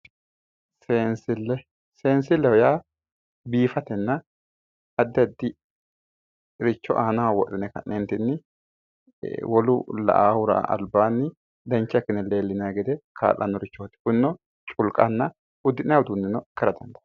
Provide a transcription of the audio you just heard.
Seensille. Seensilleho yaa biifatenna addi addiricho aanaho wodhine ka'ne wolu la"aahura albaanni dancha ikkine leellinayi gede kaa'lannorichooti. Kunino culkanna uddi'nayi uduunneno ikkara dandaanno.